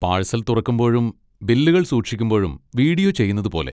Parcel തുറക്കുമ്പോഴും ബില്ലുകൾ സൂക്ഷിക്കുമ്പോഴും വീഡിയോ ചെയ്യുന്നതുപോലെ.